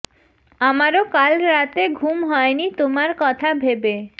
আমারও কাল রাতে ঘুম হয়নি তোমার কথা ভেবে